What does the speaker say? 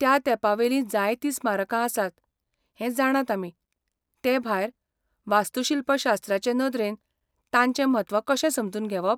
त्या तेंपावेलीं जायतीं स्मारकां आसात हें जाणात आमी, ते भायर, वास्तूशिल्पशास्त्राचे नदरेन तांचें म्हत्व कशें समजून घेवप?